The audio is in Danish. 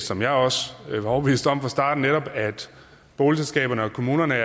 som jeg også var overbevist om fra starten netop at boligselskaberne og kommunerne